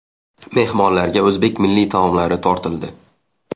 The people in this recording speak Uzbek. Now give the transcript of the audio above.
Mehmonlarga o‘zbek milliy taomlari tortildi.